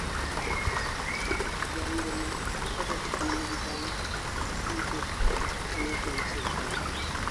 Jaringo no nokodok piny gi bang' tuke ka ne opingo sirikal